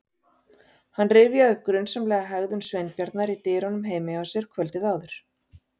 Hann rifjaði upp grunsamlega hegðun Sveinbjarnar í dyrunum heima hjá sér kvöldið áður.